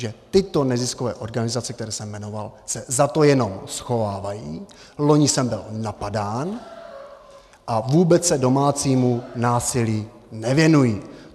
Že tyto neziskové organizace, které jsem jmenoval, se za to jenom schovávají, loni jsem byl napadán, a vůbec se domácímu násilí nevěnují.